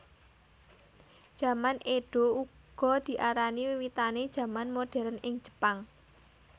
Jaman Édo uga diarani wiwitané jaman moderen ing Jepang